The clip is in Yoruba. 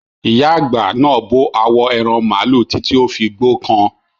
Ìyá àgbà náà bó awo ẹran màlúù títí ó fi gbókan.